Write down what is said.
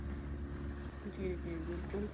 ਜੀ ਜੀ ਬਿਲਕੁਲ